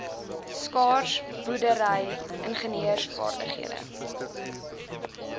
skaars boerdery ingenieursvaardighede